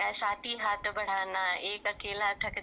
साथी हाथ बढाना एक हात थक